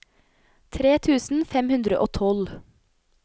tre tusen fem hundre og tolv